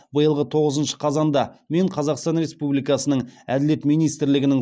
биылғы тоғызыншы қазанда мен қазақстан республикасының әділет министрлігінің